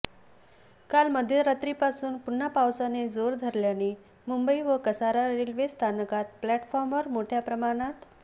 काल मध्यरात्रीपासून पुन्हा पावसाने जोर धरल्याने मुंबई व कसारा रेल्वे स्थानकात प्लॅटफॉर्मवर मोठ्या प्रमाणात